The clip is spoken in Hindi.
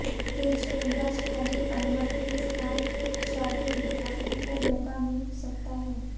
तेज गेंदबाज खलील अहमद के स्थान शार्दुल ठाकुर को मौका मिल सकता है